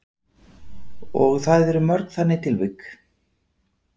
Og það eru mörg þannig tilvik?